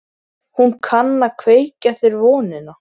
Hún var sármóðguð þegar þau renndu heim að Bakka.